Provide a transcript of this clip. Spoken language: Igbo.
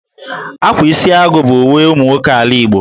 Ákwá Isiagụ bụ uwe ụmụ nwoke ala Igbo